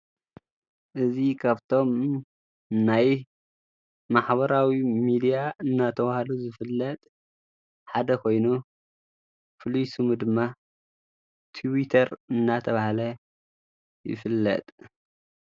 እዝ ከብቶም ናይ ማኅበራዊ ሚድያ እናተብሃሉ ዘፍለጥ ሓደ ኾይኑ ፍሉይ ሱሙ ድማ ትዊተር እናተብሃለ ይፍለጥ።